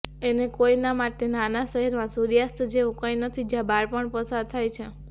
અને કોઈના માટે નાના શહેરમાં સૂર્યાસ્ત જેવું કંઈ નથી જ્યાં બાળપણ પસાર થાય છે